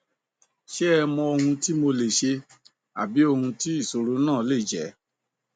ṣe ẹ mọ ohun tí mo lè ṣe àbí ohun tí ìṣòro náà lè jẹ